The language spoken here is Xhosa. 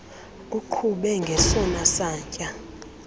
uqhube ngesona satya